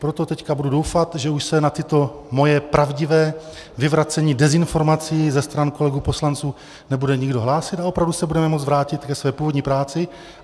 Proto teď budu doufat, že už se na toto moje pravdivé vyvracení dezinformací ze stran kolegů poslanců nebude nikdo hlásit a opravdu se budeme moct vrátit ke své původní práci.